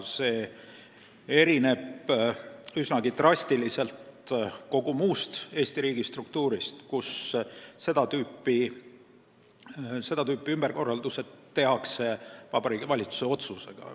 See erineb drastiliselt kogu muust Eesti riigi struktuurist, kus seda tüüpi ümberkorraldused tehakse Vabariigi Valitsuse otsusega.